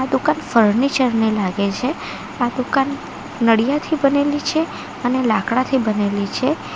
દુકાન ફર્નિચર ની લાગે છે આ દુકાન નળીયાથી બનેલી છે અને લાકડાથી બનેલી છે.